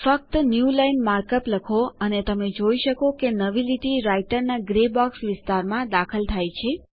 ખાલી newline markup લખો અને તમે જોઈ શકો છો કે નવી લીટી રાઈટરના ગ્રે બોક્સ વિસ્તારમાં દાખલ થાય છે